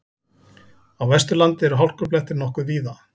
Á Vesturlandi eru hálkublettir nokkuð víða